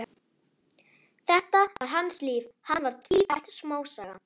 Þetta var hans líf, hann var tvífætt smásaga.